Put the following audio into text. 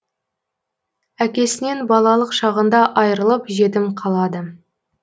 әкесінен балалық шағында айырылып жетім қалады